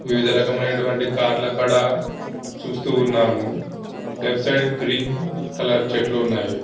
వివిధ రకములైనటువంటి కార్ల అక్కడ చూస్తూ ఉన్నాము లెఫ్ట్ సైడ్ గ్రీన్ కలర్ చెట్లు ఉన్నాయి.